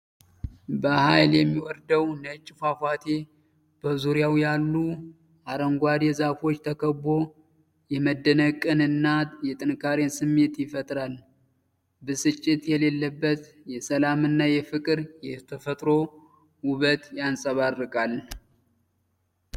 በኃይል የሚወርደው ነጭ ፏፏቴ በዙሪያው ባሉ አረንጓዴ ዛፎች ተከቦ የመደነቅን እና የጥንካሬን ስሜት ይፈጥራል፤ ብስጭት የሌለበት የሰላም እና የፍቅር የተፈጥሮ ውበት ይንጸባረቃል።